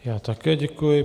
Já také děkuji.